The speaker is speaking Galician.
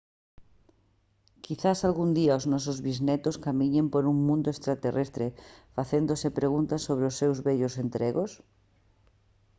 quizais algún día os nosos bisnetos camiñen por un mundo extraterrestre facéndose preguntas sobre os seus vellos entregos